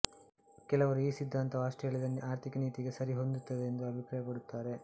ಕೆಲವರು ಈ ಸಿದ್ಧಾಂತವು ಆಸ್ಟ್ರೇಲಿಯದ ಆರ್ಥಿಕ ನೀತಿಗೆ ಸರಿಹೊಂದುತ್ತದೆಂದು ಅಭಿಪ್ರಾಯಪಡುತ್ತಾರೆ